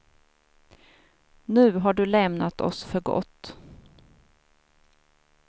Nu har du lämnat oss för gott.